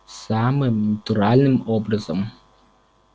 самым натуральным образом